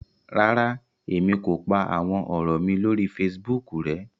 Ràrá, Èmi kò pá àwọn òrò mí lórí Facebook rẹ